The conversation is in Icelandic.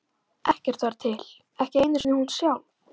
Ekkert var til, ekki einu sinni hún sjálf.